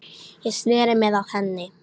Ég sneri mér að henni.